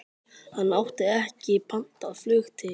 Hann átti ekki pantað flug til